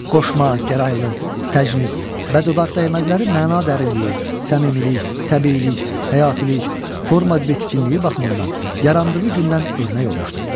Qoşma, gəraylı, təcnis, bəddodaq dəyməzləri məna dərinliyi, səmimilik, təbiilik, həyatilik, forma bitkinliyi baxımından yarandığı gündən örnək olmuşdu.